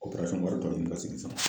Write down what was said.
O wari tɔ ninnu